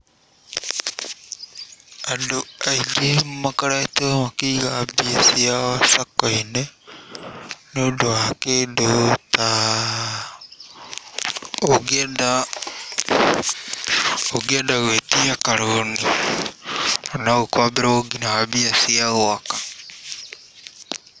Andũ aingĩ makoretwo makĩiga mbia ciao sacco-inĩ nĩ ũndũ wa kĩndũ ta ungĩenda gwĩtia karũũni, no ũkomberwo nginya mbia cia gwaka.